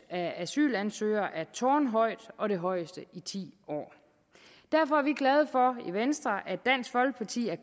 af asylansøgere er tårnhøjt og det højeste i ti år derfor er vi glade for i venstre at dansk folkeparti har